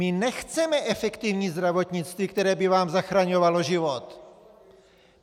My nechceme efektivní zdravotnictví, které by vám zachraňovalo život!